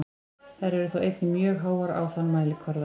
Þær eru þó einnig mjög háar á þann mælikvarða.